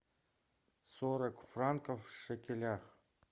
сорок франков в шекелях